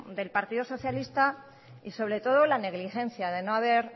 del partido socialista y sobre todo la negligencia de no haber